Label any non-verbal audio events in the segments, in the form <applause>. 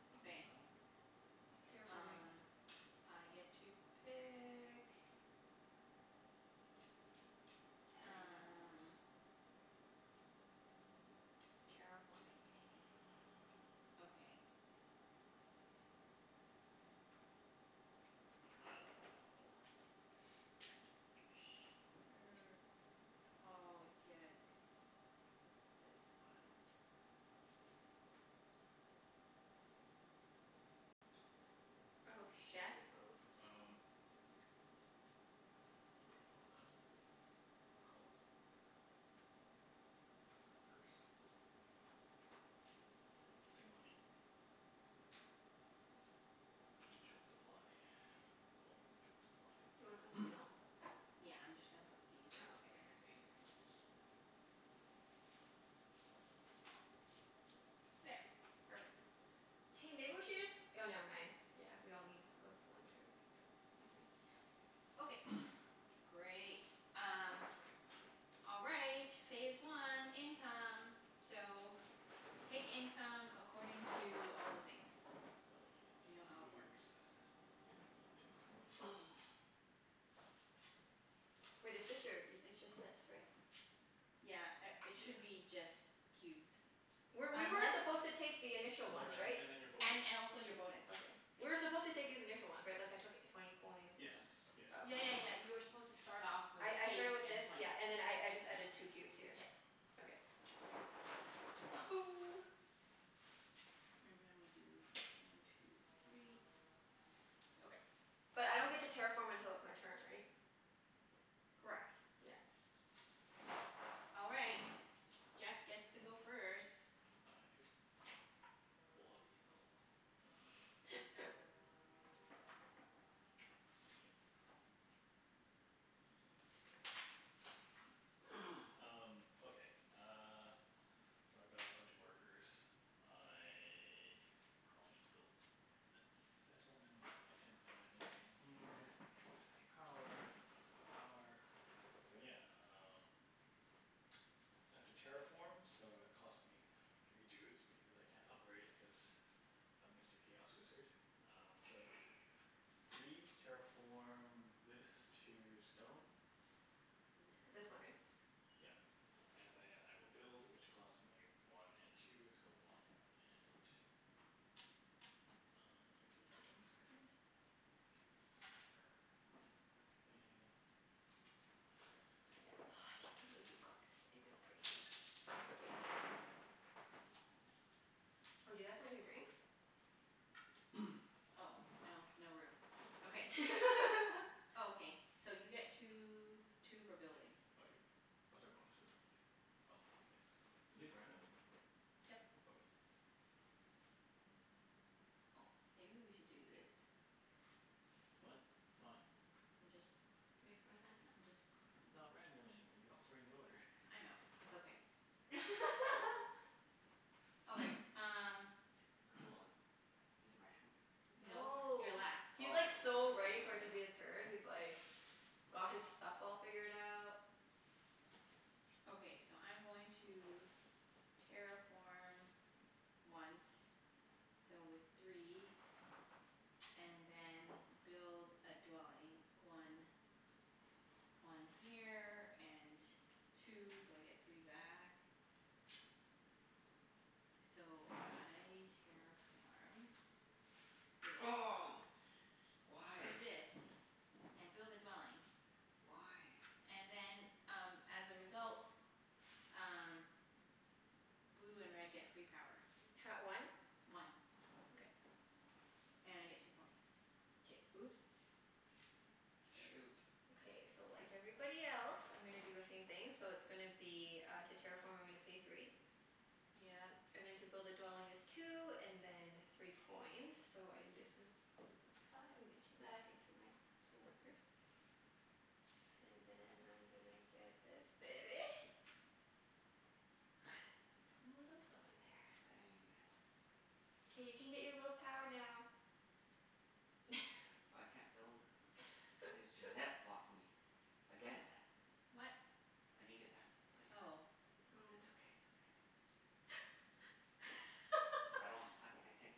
<inaudible> that Okay. one. Oh shit. Terraforming. Um I get to pick. Terraform us. Um. Terraforming, hey? <noise> Okay. I dunno. Sure, I'll get this one. Oh Jeff? shoot. Oh. Um, <inaudible> money? Cult. Um. Workers. I'll take money. I'm in short supply. Always in short supply. Do you wanna put something else? <noise> Yeah, I'm just gonna put these Oh, okay, here. yeah. For sure. Here. There. Perfect. Hey, maybe we should just, oh never mind. Yeah, we all need, of, one of everything, so never mind. Yep. Okay, <noise> great. Um All right. Phase one. Income. So, take income according to all the things. You know So I how get three it cubes. works. One two three. <noise> Wait, it's <inaudible> just your, it's just that, sorry. Yeah a- Yeah. it should be just Were, cubes. we were Unless supposed to take the initial Oh, ones, and then right? and then your bonus. And and Your also bonus. your Okay. bonus. We were supposed to take these initial ones, right? Like, I took twenty coins and Yes, stuff? yes. Oh, okay. Yeah yeah yeah, you were supposed to start off with I I eight started with and this, twenty. yeah, and then I I just added two cubes here. Yep. Okay. <noise> And now we do one two three. Okay. But I don't get to terraform until it's my turn, right? Correct. Yeah. All right. Jeff gets to go first. Oh, I do? Bloody hell. Um <laughs> Yep. Yep. <noise> <laughs> Um, okay uh So I've got a bunch of workers. I probably need to build a settlement. I can't buy anything here. I can't use any power. I don't have any power. So yeah, um <noise> I have to terraform so it cost me three dudes, because I can't upgrade, cuz of Mr. Chaos Wizard. Um so, <noise> three to terraform this to stone. Where It's this one, though? right? Yep. And then I will build which costs me one and two, so one and Um, Don't touch my workers. I guess <inaudible> <noise> three, K. Oh, I can't believe you got the stupid priest. Shit. <inaudible> Oh, do you guys want your drinks? <noise> Oh, no. No room. Okay. <laughs> Okay. So you get two two for building. I do? What's our bonus for the round? Oh, okay. Are these random? Yep. Okay. Oh, maybe we should do this. What? Why? I'm just Makes more sense. I'm just It's not random anymore. You're altering the order. I know. It's okay. <laughs> Okay, um Cool. <noise> Is it my turn? Nope. You're No. last. He's like Oh. so ready for it to be his turn. He's like got his stuff all figured out. <noise> Okay, so I'm going to terraform once. So with three And then build a dwelling. One one here and two, so I get three back. So I terraform this Oh, to why? this and build a dwelling. Why? And then um as a result um blue and red get free power. Ha- one? One. Okay. And I get two points. K. Oops. There we go. Shoot. Okay, so like everybody else I'm gonna do the same thing. So it's gonna be uh, to terraform I'm gonna pay three. Yep. And then to build a dwelling is two, and then three coins. So I'm just gon- Five, and get two back, and pay my two workers. And then I'm gonna get this baby. <laughs> Put a little dwelling there. Dang. K, you can get your little power now. I can't build cuz Junette <laughs> blocked me again. What? I needed that place. But it's Oh. okay, it's Oh. okay. <laughs> I <laughs> don't, I I can't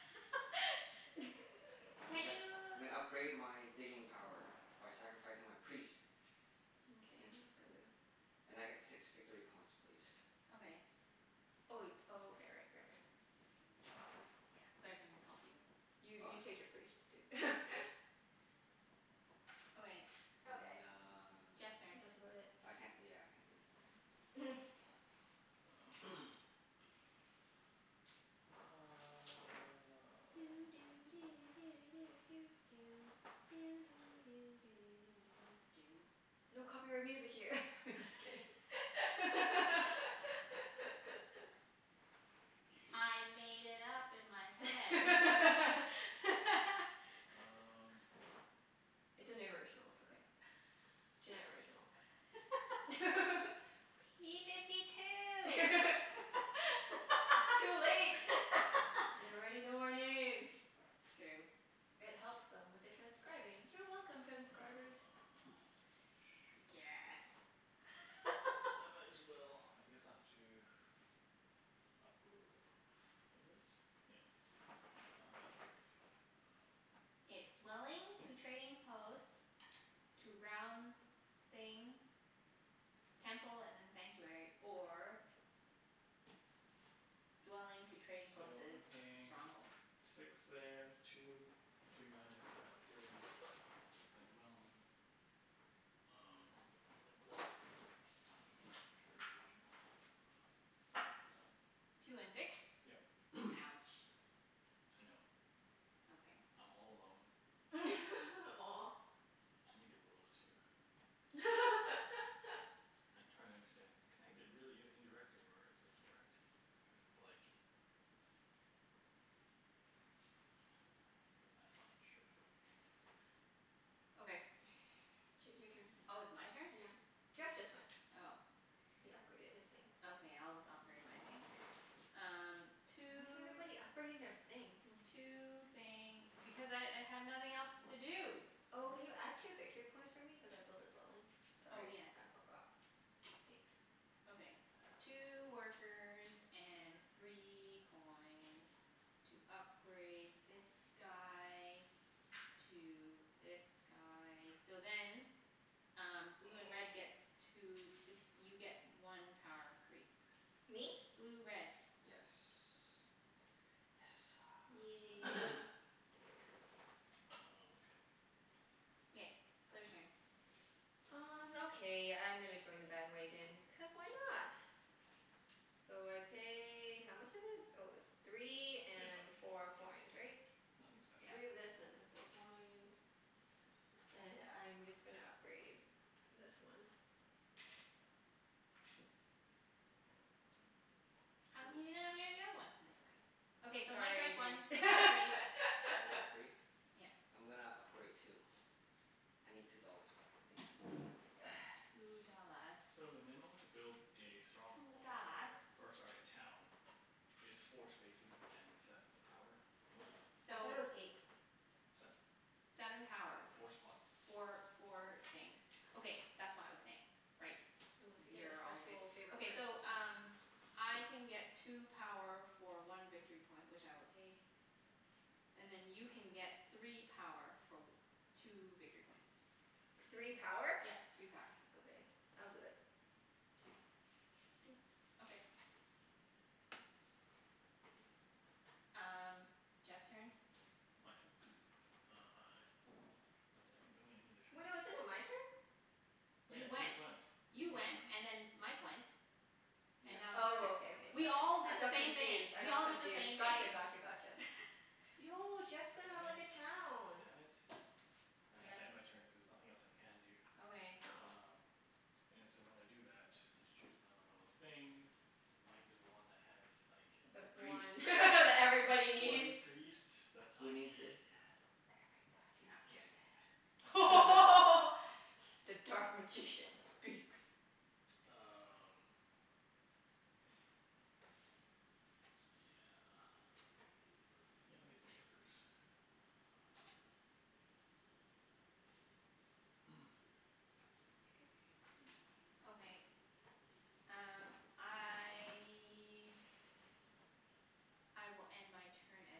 <laughs> <laughs> I'm Can't gonna you I'm gonna upgrade my digging power by sacrificing my priest. Mkay, And that's good move. <noise> and I get six victory points please. Okay. Oh wai- oh, okay, right, right, right. Yeah. Claire can help you. You Oh, you take yeah. your priest, dude. <laughs> Okay. Okay. And uh, Jeff's turn. That's about it. I can't, yeah, I can't do anything. <noise> <noise> Um <noise> Doo doo do do <noise> do doo doo. Doo doo do do do doo doo doo. No copyright music here. <laughs> I'm just kidding. <laughs> <laughs> Do you? I made it up <noise> in my head. <laughs> <laughs> Um It's an original. It's okay. Junette original. <laughs> <laughs> P fifty <laughs> two. It's <laughs> too late. They already know our names. It's true. It helps them with the transcribing. You're welcome, transcribers. Ah, shoot. Guess. I <laughs> might as well, I guess I'll have to Upgr- is it? Yeah. I'll have to upgrade. I dunno. It's dwelling to trading post to round thing Temple and then sanctuary. Or dwelling to trading post So to I'm paying stronghold. six there. Two, two guys at gray. A dwelling. Um, I don't even know. Sure, the original. Two and six? Yep. <noise> Ouch. I know. Okay. I'm all alone. <laughs> Aw. I need the rules, too. <laughs> I'm trying to understand. Can I g- really use indirect, or is it direct? Cuz it's like <noise> Cuz I'm not sure. Okay. <noise> Ch- your turn. Oh, it's my turn? Yeah. Jeff just went. Oh. He upgraded his thing. Okay, I'll d- upgrade my thing. Um Why is two everybody upgrading their thing? Hmm. two thing. Because I I have nothing else to do. Oh, can you add two victory points for me? Cuz I built a dwelling. Oh, Sorry, yes. I forgot. Thanks. Okay. Two workers and three coins. To upgrade this guy to this guy. So then um blue and Oh. red gets two, like you get one power free. Me? Blue red. Yes. Yes sir. Yay. <noise> Oh, okay. K. Claire's turn. Um okay, I'm gonna join the bandwagon, cuz why not? So I pay, how much is it? Oh, it's three Yeah, and no four coins, yeah, right? nothing special. Three Yep. of this and then four coins. And I'm just gonna upgrade this one. <noise> How come Poo. you didn't upgrade the other one? It's okay. Okay, so Mike Sorry gets one. dude. One three One for <laughs> free? Yep. I'm gonna upgrade too. I need two dollars back please. <noise> Two dollars. So the minimum to build a Two stronghold dollars. or, or sorry, a town is four spaces and seven power worth. I So thought it was <noise> eight. Seven. Seven Oh, power. Four okay. spots. Okay. Four four things. Okay, that's what I was saying. Right. Unless you get a You're all good. special favor Okay, card. so um I can get two power for one victory point, which I will take. And then you can get three power for w- two victory points. Three power? Yep. Three power. Okay. I'll do it. <noise> Two. Doot. Okay. Um Jeff's turn. My turn? Um I God damn it, no, we ended a Wait, no, turn? isn't it my turn? Oh yeah, you You just went. went, didn't You you just went went? and then Mike went. And Yep. now it's your turn. Oh, Is okay, it okay, my We sorry. turn? all I did the got same thing. confused. I We got all did the confused. same Gotcha, thing. gotcha, gotcha. <laughs> Yo, Jeff's gonna Damn have it. like a town. Damn it. I have to Yep. end my turn cuz nothing else I can do. Okay. Oh. Um And so when I do that, I have to choose another one of those things. And Mike is the one that has like the The The one <laughs> priest. that everybody bloody needs. priest that Who I needs it? need. Everybody You're needs it. not getting it. <noise> <laughs> <laughs> The dark magician speaks. Um <noise> Yeah. Yeah, I'll get the workers. <noise> K. <noise> Okay, um I I will end my turn as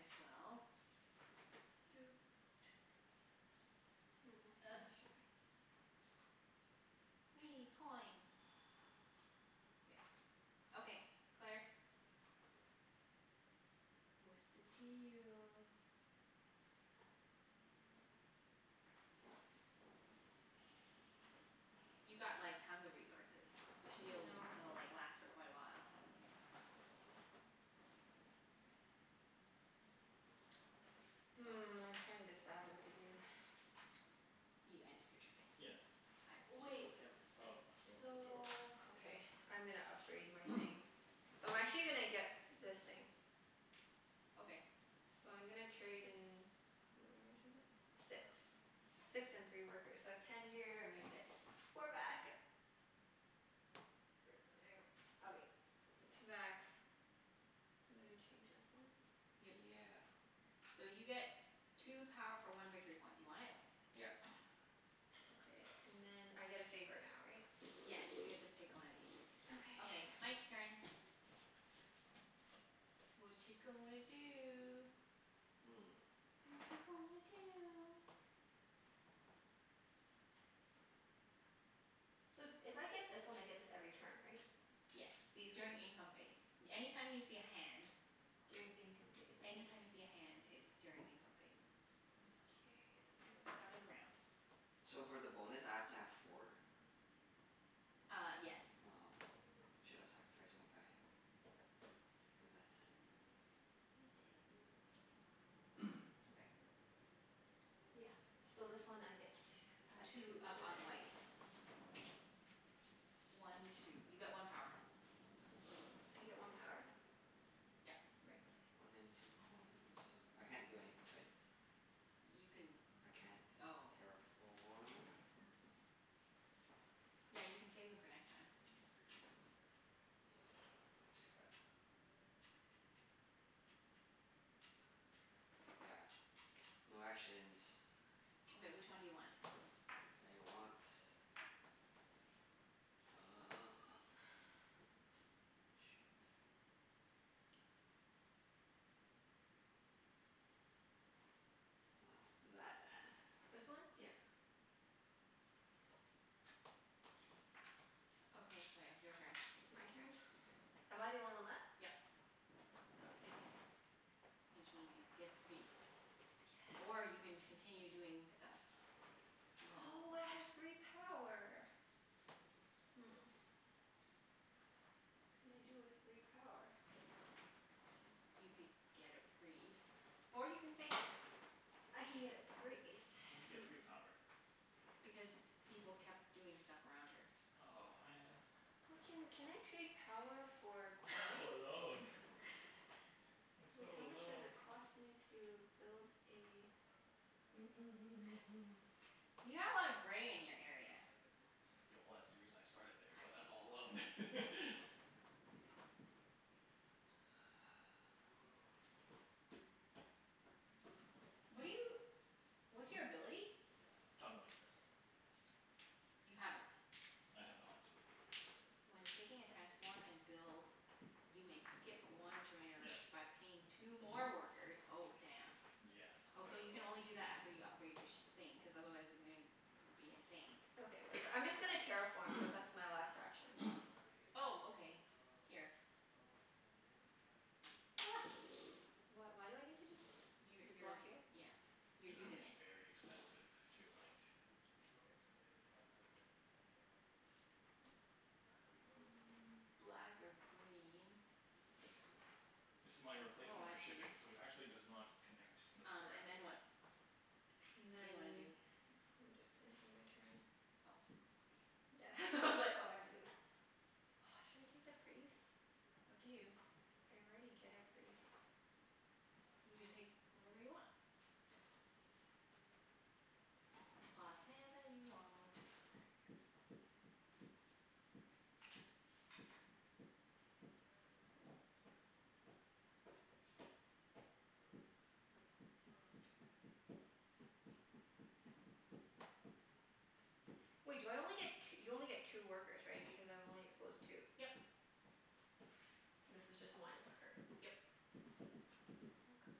well. Doot. Mm. <inaudible> shipping. Wee, coin. Yeah. <noise> Okay, Claire? What's the deal? You've got like tons of resources. You should be I able to know. l- like last for quite a while. <noise> Hmm, I'm trying to decide what to do. <noise> You ended your turn. Yeah. I just Wait. flipped it over for Oh, you. you want them flipped over? So, <noise> okay, I'm gonna upgrade my <noise> thing. So I'm actually gonna get this thing. Okay. So I'm gonna trade in, how much is it? Six. Six and three workers. So I have ten here. I'm gonna get four back. Where's the damn, okay, two back. I'm gonna change this one. Yep. Yeah. So you get two power for one victory point. Do you want it? Yep. Okay. And then I get a favor now, right? Yes, you get to pick one of these. Okay, Okay. <noise> Mike's turn. Watcha gonna do? Hmm. Watcha gonna do? So if I get this one I get this every turn, right? Yes. These ones. During income phase. Any time you see a hand During income phase. Okay. Any time you see a hand it's during income phase. Mkay. At the Where start am I? of the round. So for the bonus I have to have four? Ah, yes. Aw, should have sacrificed my guy. For that. I'm gonna take this one. <noise> Okay. Yeah. So this one I get tw- add Two two up over on there. white. One two. You get one power. I get one power? Yep. Right. Okay. One in two coins. I can't do anything, right? You can, I can't oh. terraform. Yeah, you can save them for next time. Yeah, I still got Two for a priest. Yeah, no actions. <noise> Okay, which one do you want? I want Uh <noise> <noise> shit. Want <noise> that. <noise> This one? Yep. Okay, Claire. Your turn. It's my turn? <noise> Am I the only one left? Yep. Oh, okay. Which means you'd get the priest, or Yes. you can continue doing stuff. You have no Oh, more I have <inaudible> three power. Hmm. What can I do with three power? You could get a priest. Or you can save it. I can get a priest. And you Hmm. get three power. Because people kept doing stuff around her. Oh, man. Why can, can I trade power for <laughs> I'm so coin? alone. <laughs> I'm so Wait, how much does alone. it cost me to build a <noise> You have a lotta gray in your area. Yeah, well that's the reason I started there, I but see. I'm all alone. <laughs> <noise> What are you, what's Hmm? your ability? Tunneling. You haven't? I have not. When taking a transform and build you may skip one trainer <noise> Yeah. by paying two more workers. Oh, damn. Yeah, Oh, so so you like can only do that after you upgrade your sh- thing, cuz otherwise you're gonna be insane. Okay, whatever. I'm <noise> I just gonna see. terraform cuz that's my last action. <noise> Oh, okay. Here. <noise> Wh- why do I need to do this? You To block you're, here? yeah, you're It's Okay. gonna be using it. very expensive to like <noise> Black or green. This is my Oh, replacement for I see. shipping so it actually does not connect n- Um and then directly. what? And What do you wanna then do? I'm just gonna do my turn. Oh, okay. Yeah <laughs> it's all I had to do. <noise> Should I take the priest? Up to you. I already get a priest. You can take whatever you want. Whatever you want. Wait do I only get t- you only get two workers, right? Because I've only exposed two. Yep. This was just one worker. Yep. Oh gosh.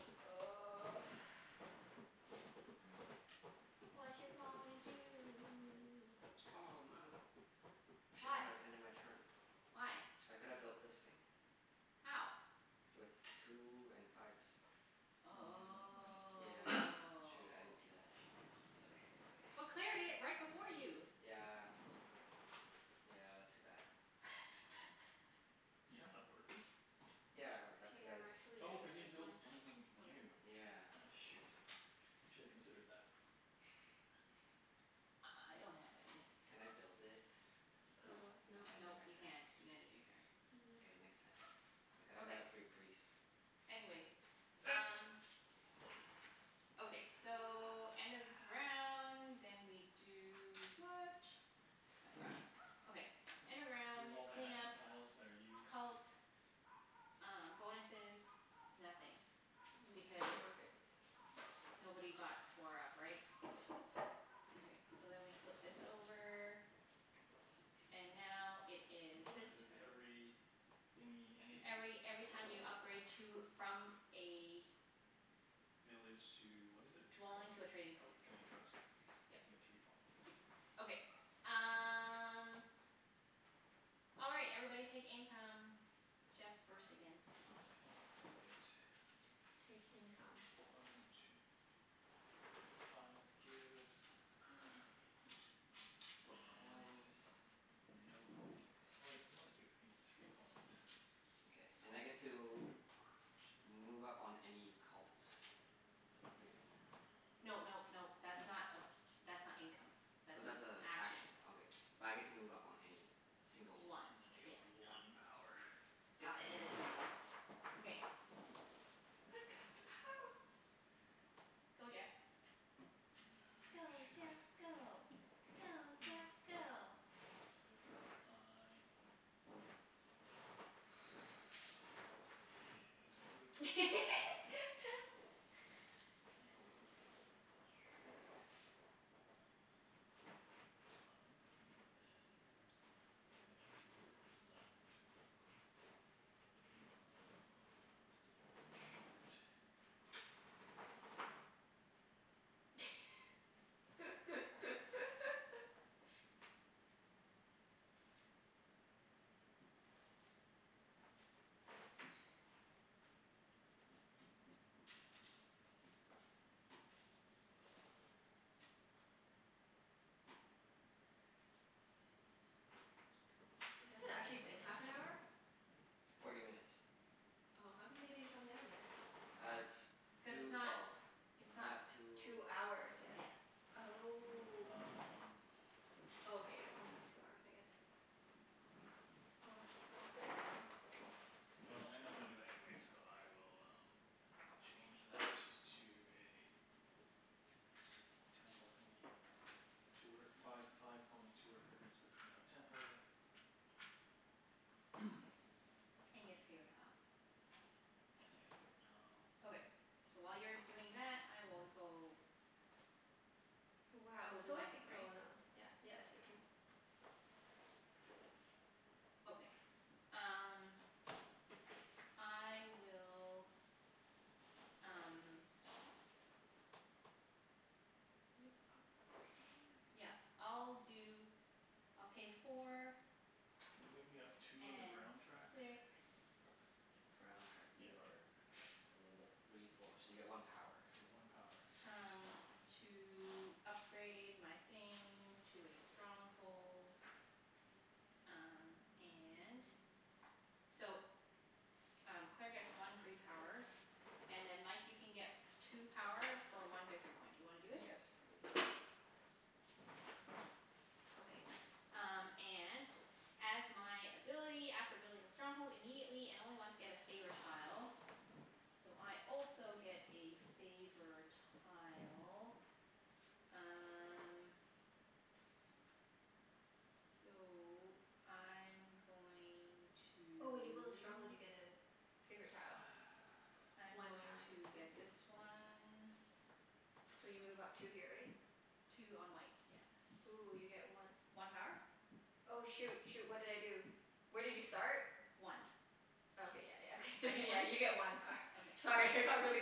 <noise> Watcha gonna do? Oh, mother, I should not have ended my turn. Why? Why? I could've built this thing. How? With two and five. He didn't have Oh. enough But Yeah. money. <noise> Claire Shoot. I didn't see that. did It's it okay. It's okay. right before you. Yeah. Yeah, that's too bad. <noise> You have <laughs> enough workers? Yeah, I got K, two I'm guys. actually Oh, gonna cuz get you didn't this build one. anything new. Okay. Yeah. Aw shoot, you shoulda considered that. <laughs> <laughs> I I I don't have any. Can I build it? Build Nope. what? No, No. I ended Nope, my you turn. can't. You ended your turn. K, No. next time. I coulda got Okay. a free priest. Anyways, um <noise> <noise> Okay, so end of <noise> round, then we do what? I've forgotten. Okay, end of Remove round all the clean up action tiles that are used Cult, uh bonuses, nothing. Mm yeah, I think Because we're good. <noise> nobody got four up, right? Yeah. Okay, so then we flip this over. And now it The is this bonus is turn every thingie, Every any every time you city? upgrade to, from a Village to, what is it Dwelling called? to a trading post. Trading post. You Yep. get three points. Okay. Um All right. Everybody take income. Jeff's first again. Okay, so I get t- Take income. one two three, I get five cubes. <noise> Four And coins. no coin income. Oh wait, no I do. I get three coins. Okay. And I get Sweet. to <noise> move up on any cult. Great. No nope nope. That's not a, that's not income. Oh, That's an that's a action. action. Okay. But I get to move up on any single one, One, And then I right? yeah. get Got it. one power. Got it. Okay. I've got the power. Go Jeff. Go Ah, Jeff go. Go shoot. Jeff <noise> If <noise> go. I <noise> let's see. This can do first patrol. <laughs> Temple would be that much. Five and then I got three workers left. Um I'm still one short. <laughs> Mm, I'm not gonna Has it gi- actually been half an hour? Forty minutes. Oh. How come they didn't come down yet? Ah, it's two Cuz twelve. it's It's not not, two Two it's hours not, yet. yeah. Oh. Um Oh, okay. It's almost two hours I guess. Oh, it's so hot in here. Well, I know I'm gonna do that anyways, so I will um change that to a temple thingie. Two wor- five five coins, two workers. This is now a temple. <noise> <noise> And you get a favor tile. And I get a favor tile. Okay. So while you're doing that, I will go I Wow, will it's do so my like, thing, right? oh not, yeah, yeah. It's your turn. Okay. Um I will, um yeah, I'll When you do, upgrade <noise> I'll pay four Can you move me up two on the brown track? and six Or or Brown track. yeah. Yeah You are yeah. o- three four. So you get one power. So you get one power. Sweet. um to upgrade my thing to a stronghold. Um and so um Claire <noise> gets one free power. And then Mike, you can get two power for one victory point. Do you wanna do it? Yes please. Okay. Um and as my ability after building a stronghold immediately, and only once, get a favor tile. So I also get a favor tile. Um <noise> So I'm going to Oh, when you build a stronghold you get a favorite tile. <noise> I'm One going time. I to see. get this one. <noise> So you move up two here, right? Two on white, Ooh, you get yeah. one One power? Oh, shoot, shoot. What did I do? Where did you start? One. I Oh okay, yeah, yeah. Okay get thr- one? yeah, you get one power. Okay. Sorry, I got really